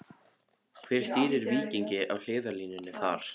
Hver stýrir Víkingi á hliðarlínunni þar?